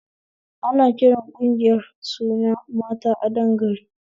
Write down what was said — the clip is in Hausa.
Ana kiran ƙungiyar da suna 'mata adon gari'